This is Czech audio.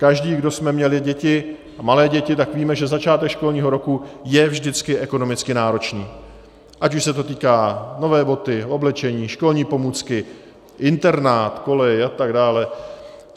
Každý, kdo jsme měli děti, a malé děti, tak víme, že začátek školního roku je vždycky ekonomicky náročný, ať už se to týká: nové boty, oblečení, školní pomůcky, internát, kolej a tak dále.